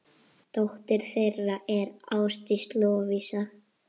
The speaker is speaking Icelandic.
Dóttir þeirra er Ásdís Lovísa.